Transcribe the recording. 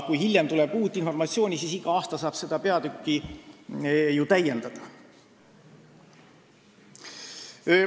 Kui hiljem tuleb uut informatsiooni, siis saab iga aasta seda peatükki ju täiendada.